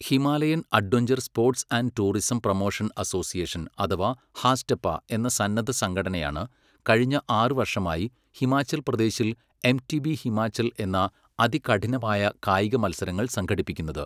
Himalayan adventure sports and tourism promotion association അഥവാ HASTPA എന്ന സന്നദ്ധ സംഘടനയാണ് കഴിഞ്ഞ ആറു വർഷമായി ഹിമാചൽ പ്രദേശിൽ എംടിബി ഹിമാചൽ എന്ന അതികഠിനമായ കായിക മത്സരങ്ങൾ സംഘടിപ്പിക്കുന്നത്.